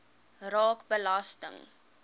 raak belasting